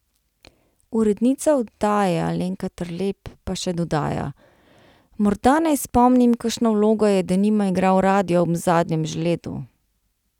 Urednica oddaje Alenka Terlep pa še dodaja: ' Morda naj spomnim kakšno vlogo je denimo igral radio ob zadnjem žledu.